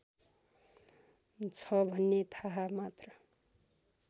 छ भन्ने थाहा मात्र